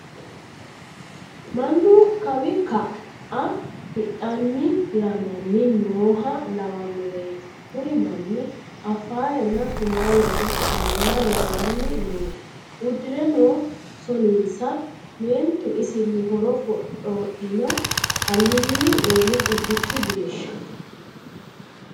Mannu kaw ka"a hidhanni hiramanni nooha lawanoreti kuri manni Afarenna sumalete manna lawani nooe udire no soninsa meentu isini horo foxxodhino alinni eelli qubbichu geeshsha.